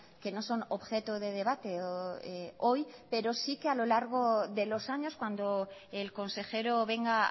que no son objeto de debate hoy pero sí que a lo largo de los años cuando el consejero venga